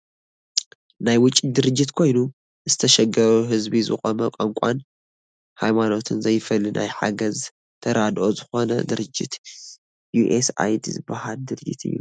ናይ ውጪ ድርጅት ኮይኑ ንዝተሸገረ ህዝቢ ዝቆመ ቋንቋን ሃይማኖትን ዘይፈሊ ናይ ሓገዝ ተራድኦ ዝኮነ ድርጅት ዩኤስ ኣይዲ ዝበሃል ድርጅት እዩ።